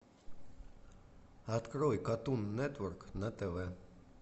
открой катун нетворк на тв